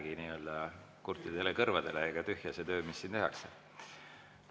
Siis ei lähegi kurtidele kõrvadele ega tühja see töö, mis siin tehakse.